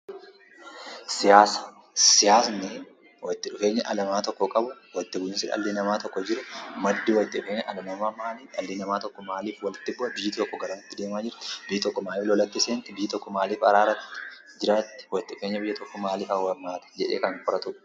Siyaasa. Siyaani walitti dhufeenyaa dhali nama tokko qabu, walitti bu'insaa dhali nama tokko jiruu madii walitti bu'ee maali, dhali nama tokko maaliif walitti bu'a, biyyi tokko garamiti deema jirti, biyyi tokko maaliif lootatti seentti, biyyi tokko maaliif araaraan jiratti, walitti dhufeenya biyya tokko maali? Jedhe kan qoratuudha.